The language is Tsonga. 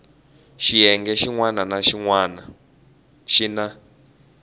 xiyenge xin wana na xin